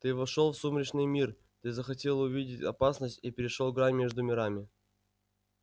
ты вошёл в сумеречный мир ты захотел увидеть опасность и перешёл грань между мирами